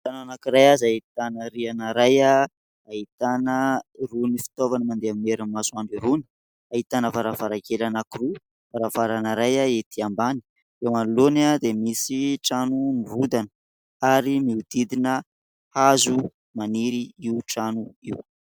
Tanàna anankiray izay ahitana rihana iray, ahitana irony fitaovana mandeha amin'ny herin'ny masoandro irony. Ahitana varavarankely anankiroa, varavarana iray etỳ ambany. Eo anoloany dia misy trano mirodana ary mihodidina hazo maniry io trano io.